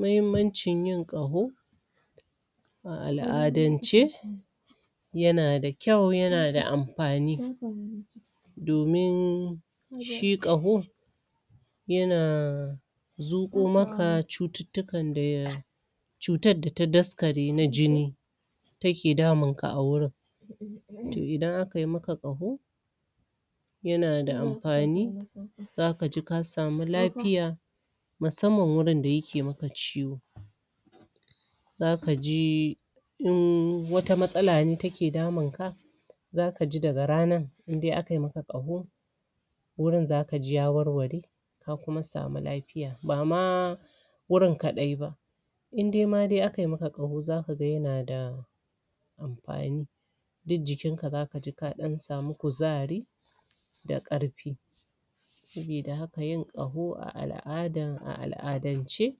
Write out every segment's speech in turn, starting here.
Mahimancin yin qaho a al'adance ya na da kyau ya na da amfani domin shi qaho ya na zuko maka cututukan da ya cutan da ta daskare na jini ta ke damun ka a wurin toh idan aka yi maka qaho ya na da amfani za ka ji ka samu lafiya masamman wurin da ya ke maka ciwo za ka ji in wata matsala ne ta ke damun ka za ka ji da ga ranan in dai aka yi maka qaho wurin za ka ji ya warware ka kuma sami lafiya ba ma wurin kadai ba in dai ma dai a ka yi maka qaho za ka gan ya na da amfani duk jikin ka, za ka ji ka dan samu kuzari da karfi sabida haka yin qaho a al'adan, a al'adance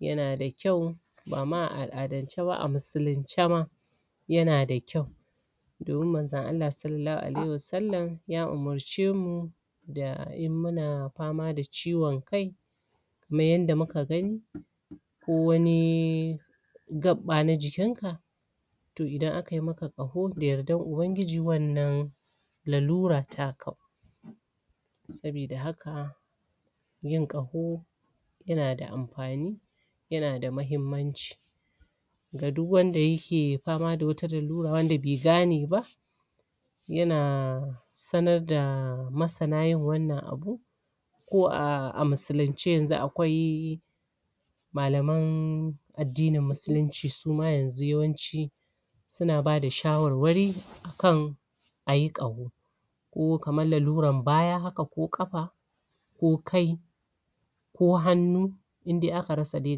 ya na da kyau ba ma a al'adance ba, a muslimce ma ya na da kyau domin manza Allah, salalahu alaihu sallam ya umurce mu da in muna fama da ciwon kai mu yi yada mu ka gani ko wani gappa na jikin ka toh idan aka yi maka qaho da yadar Ubangiji wannan lalura ta ka sabida haka yin qaho ya na da amfani ya na da mahimanci ga duk wanda ya ke fama da wata lalura wanda be gane ba ya na sanar da masana yin wannan abu ko a muslimce yanzu akwai malaman adinin muslimci, suma yanzu yawanci na bada shawarwari akan a yi qaho ko kaman laluran baya haka ko kafa ko kai ko hannu in dai aka rasa dai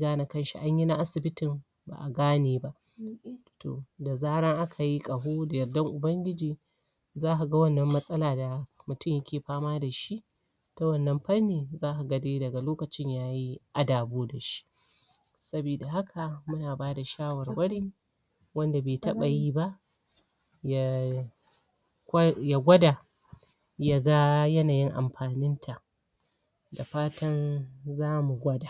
gane kan shi, anyi na asibitin ba a gane ba toh, da zaran aka yi qaho, da yadan Ubangiji za ka gan wannan matsala da mutum ya ke fama da shi ta wannan fannin za ka gan dai, daga lokacin yayi adabo dashi sabida haka muna bada shawarwari wanda be taba yi ba ya ya gwada ya gan, yanayin amfanin ta da fatan za mu gwada